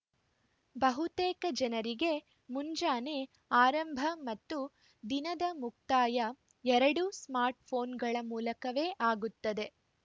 ಬಹುತೇಕ ಜನರಿಗೆ ಮುಂಜಾನೆ ಆರಂಭ ಮತ್ತು ದಿನದ ಮುಕ್ತಾಯ ಎರಡೂ ಸ್ಮಾರ್ಟ್‌ಫೋನ್‌ಗಳ ಮೂಲಕವೇ ಆಗುತ್ತದೆ